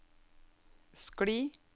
skli